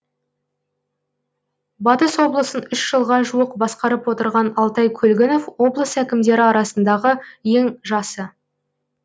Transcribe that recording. батыс облысын үш жылға жуық басқарып отырған алтай көлгінов облыс әкімдері арасындағы ең жасы